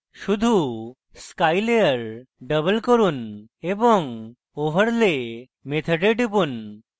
শুধু sky layer double করুন এবং over lay মেথডে টিপুন